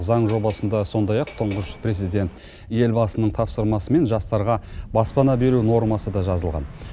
заң жобасында сондай ақ тұңғыш президент елбасының тапсырмасымен жастарға баспана беру нормасы да жазылған